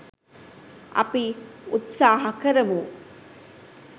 අපි උත්සහ කරමු